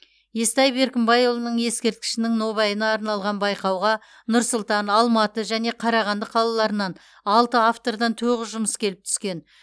естай беркімбайұлының ескерткішінің нобайына арналған байқауға нұр сұлтан алматы және қарағанды қалаларынан алты автордан тоғыз жұмыс келіп түскен